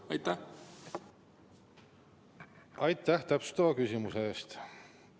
Aitäh täpsustava küsimuse eest!